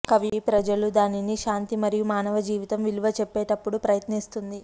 కవి ప్రజలు దానిని శాంతి మరియు మానవ జీవితం విలువ చెప్పేటప్పుడు ప్రయత్నిస్తుంది